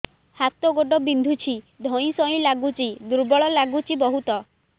ହାତ ଗୋଡ ବିନ୍ଧୁଛି ଧଇଁସଇଁ ଲାଗୁଚି ଦୁର୍ବଳ ଲାଗୁଚି ବହୁତ